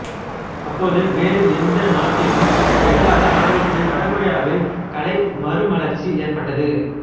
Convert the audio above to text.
அப்போது வேறு எந்நாட்டிலும் நிகழாத அளவுக்கு வட கொரியாவில் கலை மறுமலர்ச்சி ஏற்பட்டது